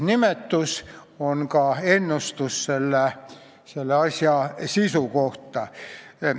See on ka ennustus selle asja sisu kohta.